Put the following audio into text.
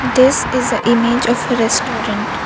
this is a image of a restaurant.